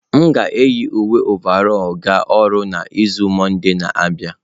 M ga-eyi uwe ọvarọlụ ga ọrụ n'izu mọnde na-abịa